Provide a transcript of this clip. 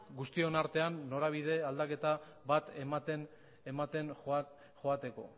guztion artean norabide aldaketa bat ematen joateko